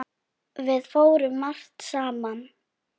Við fórum margt saman.